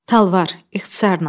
Talvar, ixtisarla.